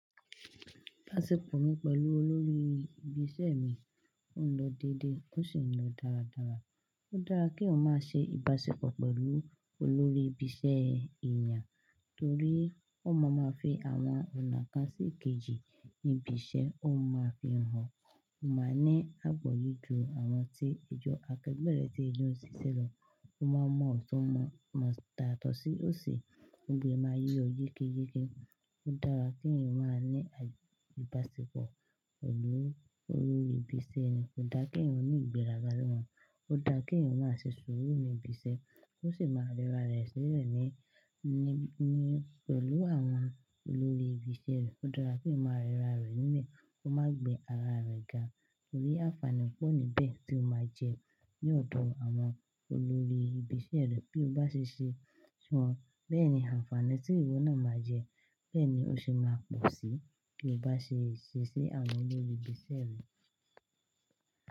Ibaṣepọ̀ mi pẹ̀lú olórí ibi iṣẹ́ mi, ó ń lọ dédé ó sì ń lọ dáradára. Ó dára keeyan má ṣe ìbáṣepọ̀ pẹ̀lú olórí ibi iṣẹ́ èèyàn torí won máa ma fi àwọn ọ̀nà kan sí ikejì níbi iṣẹ́, wón ma máa fi hàn o. Máa ní àponle ju àwọn tí ẹ jọ akẹgbẹ́ rẹ tí e n jo ṣìṣẹ́ lọ. Ó máa mọ ọ̀tún, mo yato sí ọ̀si, gbogbo e máa yé ọ yékéyéke. Ó dára kíeeyan máa ní ìbáṣepọ̀ pẹ̀lú olórí ibi iṣẹ́ yan. Kò dáa kí ẹ̀eyan ó ní ìgbéraga níwọ̀n. Ó dáa keeyan máa ṣe sùúrù ní ibi iṣẹ́, ó sì máa rẹra rẹ sílẹ̀ ní, ní, ní pẹ̀lú àwọn olórí ibi sẹ́ rẹ. Ó dára keeyan máa rẹra rẹ nlẹ̀, kó má gbe ara rẹ ga torí àǹfààní pọ̀ níbẹ̀ tí o máa jẹ ní ọ̀dọ̀ àwọn olórí ibi iṣẹ́ rẹ bí o bá ṣe ṣe si wọ́n. Bẹ́ẹ̀ ni àǹfààní tí ìwọ náà máa jẹ, bẹ́ẹ̀ ni ó se máa pọ̀ síí bí o bá ṣe ṣẹ́ṣi àwọn olórí ibi ṣẹ́ rẹ.